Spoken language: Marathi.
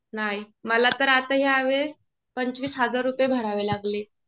नाही. मला तर आता ह्यावेळेस पंचवीस हजार रुपये भरावे लागले.